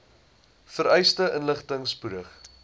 vereiste inligting spoedig